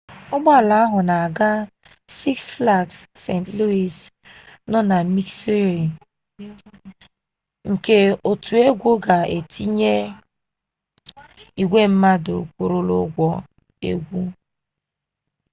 ụgbọala ahụ na-aga six flags st louis nọ na missouri ka otu egwu ga tiere igwe mmadụ kwụrụla ụgwọ egwu